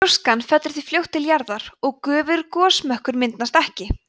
gjóskan fellur því fljótt til jarðar og stöðugur gosmökkur myndast ekki